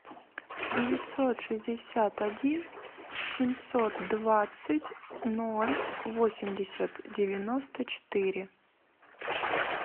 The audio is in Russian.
девятьсот шестьдесят один семьсот двадцать ноль восемьдесят девяносто четыре